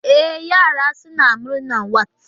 E, yara sun yi murnar wat